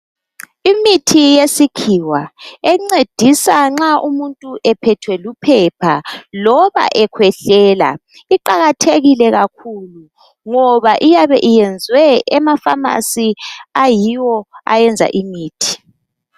Imithi yesikhiwa, encedisa nxa umuntu ephethwe luphepha loba ekhwehlela. Kuqakathekile kakhulu ngoba iyabe iyenzwe emafamasi ayiwo ayenza imithi.